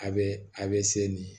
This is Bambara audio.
A bɛ a bɛ se nin